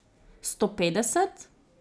Sto petdeset?